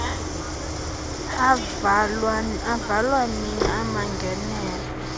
avalwa nini amangenelo